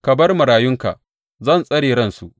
Ka bar marayunka; zan tsare ransu.